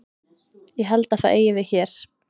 Ég held að það eigi við hér.